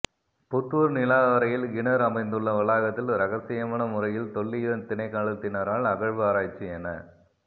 புத்தூர் நிலாவரையில் கிணறு அமைந்துள்ள வளாகத்தில் இரகசியமான முறையில் தொல்லியல் திணைக்களத்தினரால் அகழ்வு ஆராய்ச்சி எனக்